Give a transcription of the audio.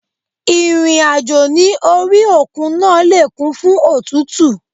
Ìrìn àjò ní orí òkun náà le kún fún òtútù.